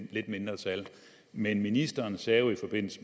lidt mindre tal men ministeren sagde jo i forbindelse